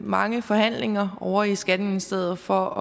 mange forhandlinger ovre i skatteministeriet for